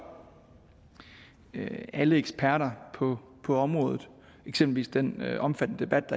alle eksperter på området eksempelvis den omfattende debat